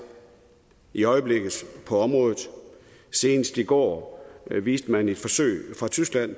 i øjeblikket på området senest i går viste man et forsøg fra tyskland